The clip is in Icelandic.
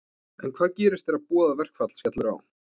En hvað gerist þegar boðað verkfall skellur á?